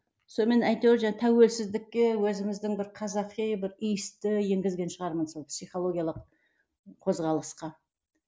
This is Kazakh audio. сонымен әйтеуір тәуелсіздікке өзіміздің бір қазақи бір иісті енгізген шығармын сол психологиялық қозғалысқа